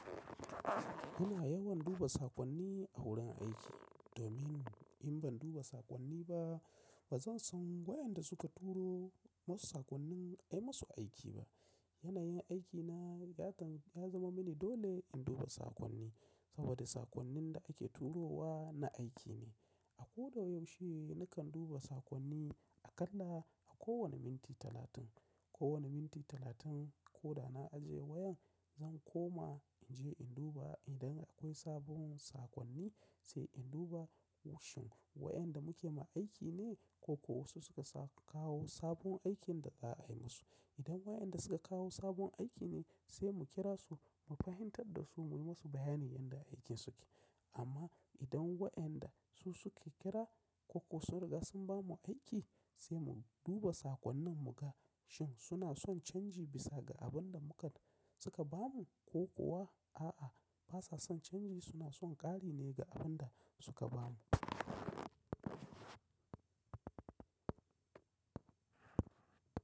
Ina yawan duba saƙonni a wurin aiki domin in ban duba saƙonni ba ba zan san waɗanda suka turo masu saƙonnin ai masu aiki ba. Yanayin aikina ya zaman mini dole in duba saƙonni saboda saƙonnin da ake turo wa na aiki ne. A ko da yaushe nakan duba saƙonni aƙalla a kowane minti talatin. Kowane minti talatin ko da na aje wayan zan koma in je in duba idan akwai sabon saƙonni sai in duba Wai shin wayanda muke ma aiki ne ko ko wasu suka kawo sabon aikin da za a yi musu. Idan wayanda suka kawo sabon aiki ne sai mu kira su mu fahimtar da su mu yi musu bayanin yadda aikinsu ke. Amma idan wayanda su suke kira ko ko sun riga sun ba mu aiki sai mu duba saƙonnin mu ga shin suna son canji bisa ga abin da muka suka ba mu ko kuwa a'a basa son canji suna son ƙari ne ga abin da suka ba mu.